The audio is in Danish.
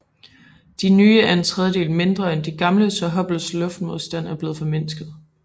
De nye er en tredjedel mindre end de gamle så Hubbles luftmodstand er blevet formindsket